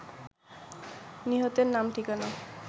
নিহতের নাম ঠিকানা